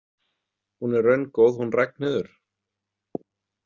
Hún er raungóð hún Ragnheiður.